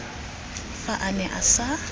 fa a ne a sa